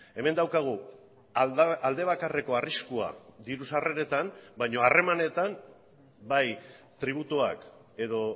hemen daukagu aldebakarreko arriskua diru sarreretan baina harremanetan bai tributuak edo